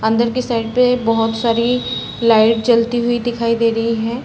अंदर के साइड पे बहोत सारी लाइट जलती हुई दिखाई दे रही है।